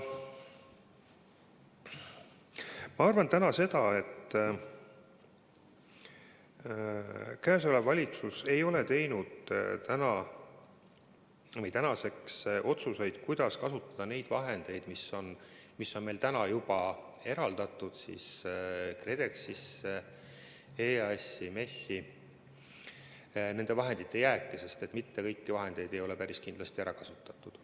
Ma arvan, et praegune valitsus ei ole tänaseks teinud otsuseid, kuidas kasutada nende vahendite jääki, mis on meil täna juba KredExisse, EAS-i ja MES-i eraldatud, sest päris kindlasti ei oli kõiki vahendeid ära kasutatud.